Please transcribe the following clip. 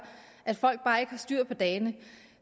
at folk bare ikke har styr på dagene